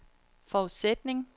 forudsætning